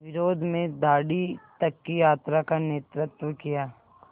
विरोध में दाँडी तक की यात्रा का नेतृत्व किया